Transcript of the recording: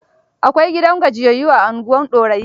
Akwai gidan gajiyayyu a unguwar Dorayi.